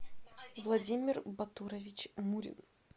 владимир батурович мурин